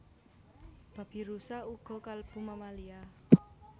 Babirusa uga kalebu mammalia